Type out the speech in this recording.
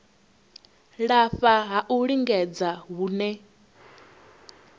lafha ha u lingedza hune